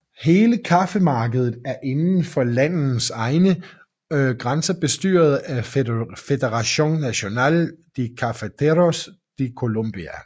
Hele kaffemarkedet er inden for landets egne grænser bestyret af Federación Nacional de Cafeteros de Colombia